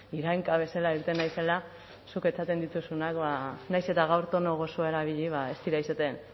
irainka bezala irten naizela zuk esaten dituzunak ba nahiz eta gaur tono gozoa erabili ba ez dira izaten